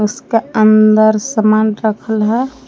उसके अंदर सामान रखल है।